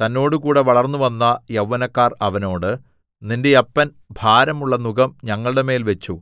തന്നോടുകൂടെ വളർന്നുവന്ന യൗവനക്കാർ അവനോട് നിന്റെ അപ്പൻ ഭാരമുള്ള നുകം ഞങ്ങളുടെമേൽ വെച്ചു